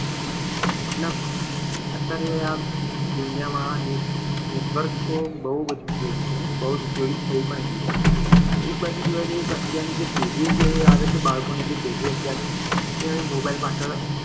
મતલબ અત્યારે આ દુનિયામાં network તો બહુ બધા બહુ જ ઉપયોગી છે. બહુ જ ઉપયોગી થઈ પણ ગયું છે. અને એક બાજુ જોવા જઈએ તો અત્યારની જે પેઢીઓ આવે છે બાળકોની જે પેઢી અત્યારની એ હવે mobile પાછળ